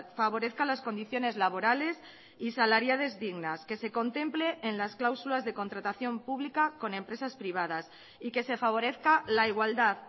favorezca las condiciones laborales y salariales dignas que se contemple en las cláusulas de contratación pública con empresas privadas y que se favorezca la igualdad